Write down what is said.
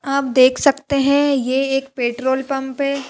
आप देख सकते हैं ये एक पेट्रोल पंप है।